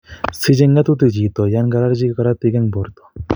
Siche ng'etutik chito yon kororchi korotik en borto